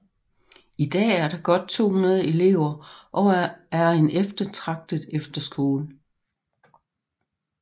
I dag er der godt 200 elever og er en eftertragtet efterskole